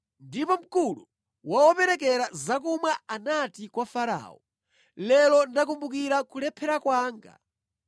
Ndipo mkulu wa operekera zakumwa anati kwa Farao, “Lero ndakumbukira kulephera kwanga.